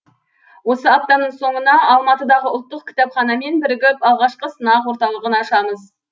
осы аптаның соңына алматыдағы ұлттық кітапханамен бірігіп алғашқы сынақ орталығын ашамыз